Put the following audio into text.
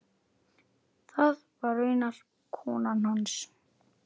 Það var raunar konan hans.